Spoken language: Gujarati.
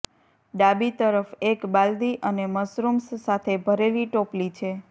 ડાબી તરફ એક બાલદી અને મશરૂમ્સ સાથે ભરેલી ટોપલી છે